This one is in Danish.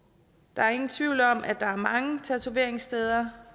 der er ingen tvivl om at der er mange tatoveringssteder